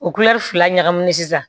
O fila ɲagamine sisan